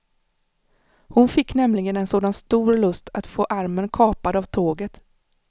Hon fick nämligen en sådan stor lust att få armen kapad av tåget.